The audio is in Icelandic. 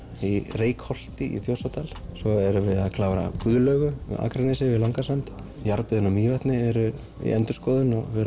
í Reykholti í Þjórsárdal svo erum við að klára Guðlaugu á Akranesi við Langasand jarðböðin á Mývatni eru í endurskoðun og við